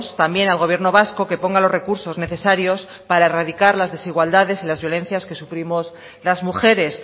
también al gobierno vasco que ponga los recursos necesarios para erradicar las desigualdades y las violencias que sufrimos las mujeres